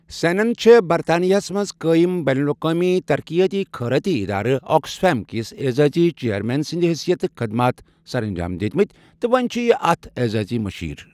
سینن چھےٚ برطانیہس منز قٲیم بین الاقوامی ترقیاتی خیرٲتی ادارٕ آكسفیم كِس اعزازی چیرمین سٕندِ حٔثیتہٕ خدمات سر انجام دِتِمٕتۍ تہٕ وۄنۍ چھُ یہ اتھ اعزازی مشیر ۔